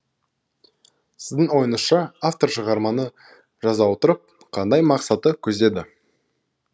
сіздің ойыңызша автор шығарманы жаза отырып қандай мақсатты көздеді